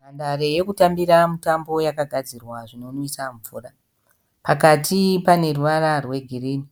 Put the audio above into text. Nhandare yokutambira mutambo yakagadzirwa zvinomwisa mvura. Pakati paneruvara rwegirini,